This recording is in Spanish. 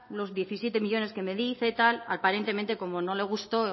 los diecisiete millónes que me dice aparentemente cómo no le gustó